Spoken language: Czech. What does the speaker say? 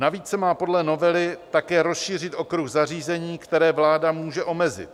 Navíc se má podle novely také rozšířit okruh zařízení, která vláda může omezit.